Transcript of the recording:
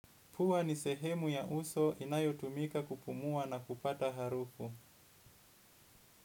Pua ni sehemu ya uso inayotumika kupumua na kupata harufu.